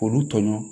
K'olu tɔɲɔgɔn